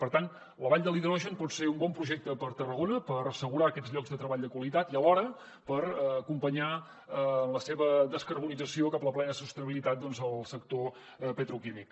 per tant la vall de l’hidrogen pot ser un bon projecte per a tarragona per assegurar aquests llocs de treball de qualitat i alhora per acompanyar en la seva descarbonització cap a la plena sostenibilitat el sector petroquímic